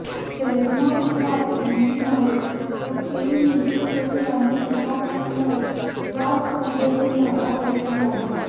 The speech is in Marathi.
सेरनाशिवाय अँडी मरे व केई निशिकोरी यांनी दुखापतीमुळे या स्पर्धेतून माघार घेतली आहे